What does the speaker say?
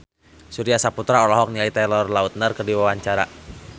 Surya Saputra olohok ningali Taylor Lautner keur diwawancara